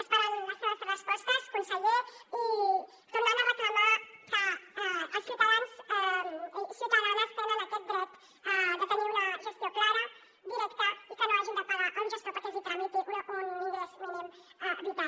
esperem les seves respostes conseller i tornem a reclamar que els ciutadans i ciutadanes tenen aquest dret de tenir una gestió clara directa i que no hagin de pagar un gestor perquè els hi tramiti un ingrés mínim vital